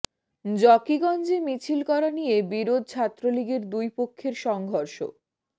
জকিগঞ্জে মিছিল করা নিয়ে বিরোধ ছাত্রলীগের দুই পক্ষের সংঘর্ষ